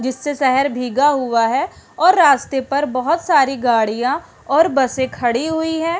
जिससे शहर भीगा हुआ है और रास्ते पर बहुत सारी गड़िया और बसे खड़ी हुई है।